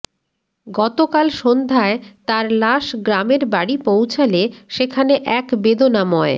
গতকাল সন্ধ্যায় তাঁর লাশ গ্রামের বাড়ি পৌঁছালে সেখানে এক বেদনাময়